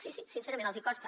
sí sí sincerament els hi costa